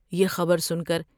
یہ خبر سن کر